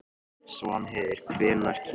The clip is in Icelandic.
Svanheiður, hvenær kemur ásinn?